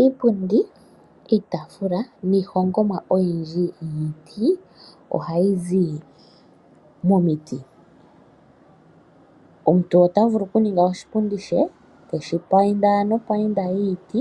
Iipundi, iitaafula, niihongomwa oyindji yiiti ohayi zi momiti. Omuntu otavulu okuninga oshipundi she, teshi painda nopainda yiiti,